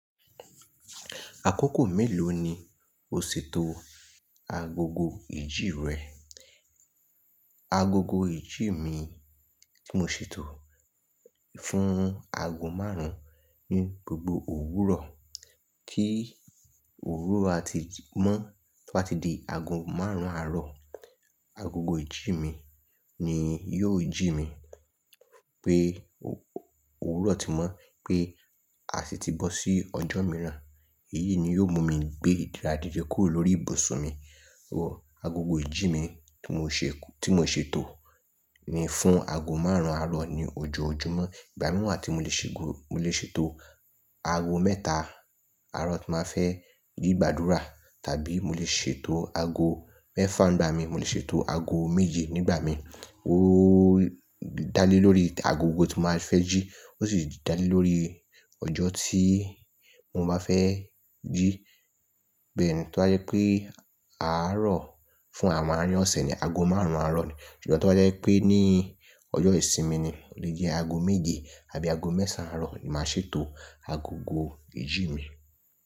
Àkókò mélòó ni o ṣètò agogo ìjí rẹ? Agogo ìjí mi tí mo ṣètò fún ago márùn-ún ni gbogbo òwúrọ̀. Kí òwúrọ̀ a ti mọ́, to ba ti di ago márùn-ún àárọ̀, agogo ìjí mi ni yóò jí mi pé òwúrọ̀ ti mọ́, pé a sì ti bọ́ sí ọjọ́ mìíràn. Èyí ni yóò mú mi gbé ìdíra dide kúrò lórí ibùsùn mi. Agogo ìjí mi tí mo ṣètò ni fún ago márùn-ún àárọ̀ ní ojoojúmọ́. Ìgbà mìí wa tí mo lè ṣètò ago mẹ́ta àárọ̀ tí màá fẹ́ rí gbàdúrà, tàbí mo lè ṣètò ago mẹ́fà nígbà mi, mo lè ṣètò ago méje nígbà mi. Ó dá lé lórí agogo tí màá fẹ́ jí, ó sì dá lé lórí ọjọ́ tí mo máa fẹ́ jí. Bẹ́ẹ̀ni, to bá jẹ́ pé àárọ̀ fún àwọn àárín ọ̀sẹ̀ ni ago márùn-ún àárọ̀ ni, ṣùgbọ́n tí o bá jẹ́ pé ní ọjọ́ ìsinmi ni, ó lè jẹ́ ago méje àbí ago mẹ́sàn án àárọ̀ ni màá ṣètò agogo ìjí mi.